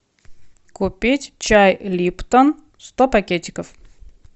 купить чай липтон сто пакетиков